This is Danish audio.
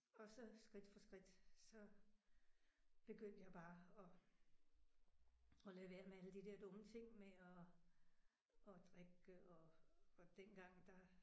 Og så skridt for skridt så begyndte jeg bare at at lade være med alle de der dumme ting med at at drikke og og dengang der